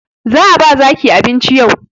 Za a ba zaki abinci yau